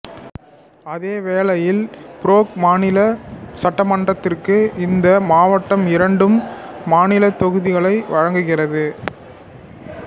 அதே வேளையில் பேராக் மாநில சட்டமன்றத்திற்கு இந்த மாவட்டம் இரண்டு மாநிலத் தொகுதிகளை வழங்குகிறது